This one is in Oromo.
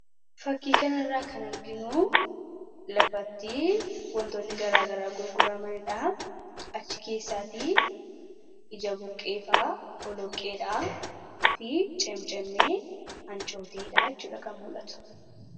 Suuraan kun gabaa lafatti dhiyaate kan agarsiisu yoo ta'u, keessattuu ija buqqee, boloqqee fi cimmicimmee hancoottee gurguraaf dhiyaatan mul'isu.